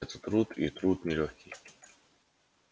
это труд и труд нелёгкий